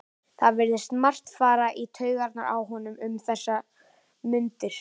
Það virðist margt fara í taugarnar á honum um þessar mundir.